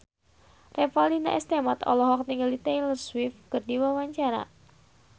Revalina S. Temat olohok ningali Taylor Swift keur diwawancara